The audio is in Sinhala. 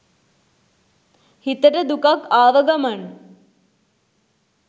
හිතට දුකක් ආව ගමන්